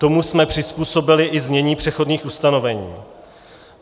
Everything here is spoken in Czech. Tomu jsme přizpůsobili i znění přechodných ustanovení.